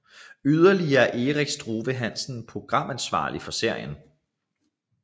Yderligere er Erik Struve Hansen programansvarlig for serien